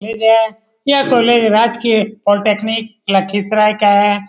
यह कोलेज राजकीय पोलिटेक्निक लखीसराए का है ।